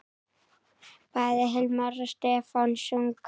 Bæði Hilmar og Stefán sungu.